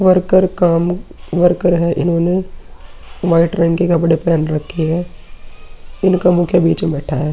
Worker काम worker है। इन्होने वाइट रंग के कपड़े पहेने रखे हैं। इनका मुखिया बीच में बैठा है।